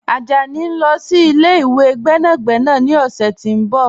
Ajani n lọ sí ilẹ̀-ìwé gbẹ́nàgbẹ̀nà ni ọ̀ṣẹ̀ ti n bọ̀.